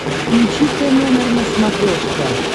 включи тномер на смотрешке